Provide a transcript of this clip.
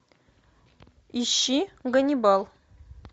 ищи ганнибал